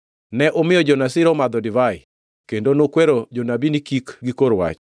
“Ne umiyo jo-Nazir omadho divai, kendo nukwero jonabi ni kik gikor wach.